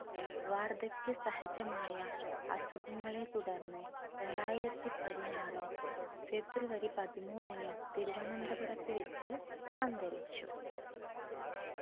വാർദ്ധക്യ സഹജമായ അസുഖങ്ങളെ തുടർന്ന് രണ്ടായിരത്തി പതിനാറ് ഫെബ്രുവരി പതിമൂന്നിന് തിരുവനന്തപുരത്ത് വെച്ച് അന്തരിച്ച